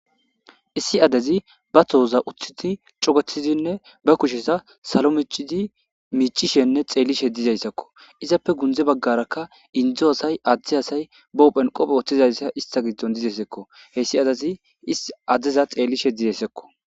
issi adezi ba tohoza uthiti cogetizinne ba kushesa salo micidi miicishenne xeeli shedizayssakko izappe gunze baggaraka indzo asay adzde asay bahophenqophe woththizayssa ista giddon dizesekko heyssi adezi is addeza xeellishedideyssakko